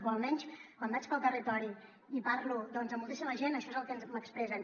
o almenys quan vaig pel territori i parlo doncs amb moltíssima gent això és el que m’expressen